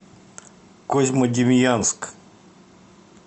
козьмодемьянск